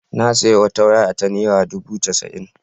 Na sayi wata waya ta naira dubu casa'in.